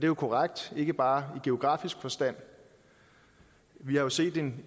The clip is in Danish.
jo korrekt ikke bare i geografisk forstand vi har jo set en